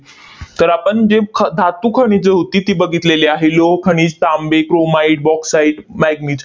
तर आपण जे ख धातू खनिजे होती ती बघितलेली आहे. लोहखनिज, तांबे, chromite, bauxite, manganese